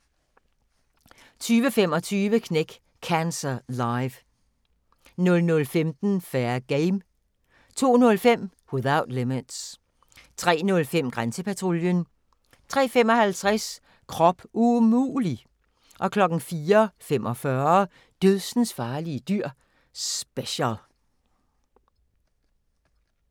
22:25: Knæk Cancer Live 00:15: Fair Game 02:05: Without Limits 03:05: Grænsepatruljen 03:55: Krop umulig! 04:45: Dødsensfarlige dyr – special